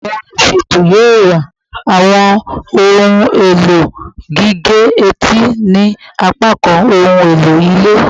Awọn oluṣeto yoo wa awọn ohun elo gige-eti ni apakan ohun elo ile